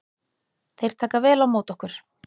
Þeir taka vel á móti okkur